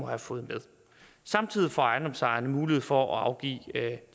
have fået med samtidig får ejendomsejerne mulighed for at afgive